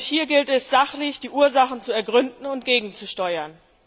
Hier gilt es, sachlich die Ursachen zu ergründen und gegenzusteuern.